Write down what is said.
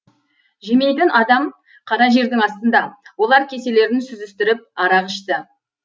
жемейтін адам қара жердің астында олар кеселерін сүзістіріп арақ ішті